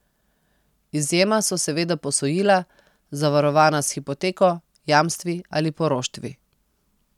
Izjema so seveda posojila, zavarovana s hipoteko, jamstvi ali poroštvi.